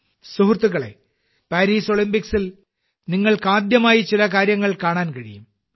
സുഹൃത്തുക്കളേ പാരീസ് ഒളിമ്പിക്സിൽ നിങ്ങൾക്ക് ആദ്യമായി ചില കാര്യങ്ങൾ കാണാൻ കഴിയും